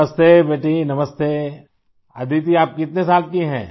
नमस्ते बेटी नमस्ते आई अदिति आप कितने साल की हैं